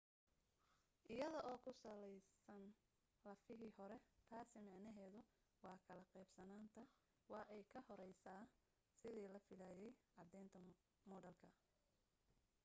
iyada oo ku saleysan lafahii hore taasi micnaheedu waa kala qeybsanaanta waa ay ka horeysaa sidii la filaayay caddeynta moodeelka